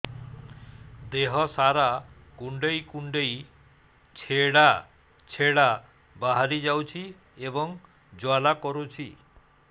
ଦେହ ସାରା କୁଣ୍ଡେଇ କୁଣ୍ଡେଇ ଛେଡ଼ା ଛେଡ଼ା ବାହାରି ଯାଉଛି ଏବଂ ଜ୍ୱାଳା କରୁଛି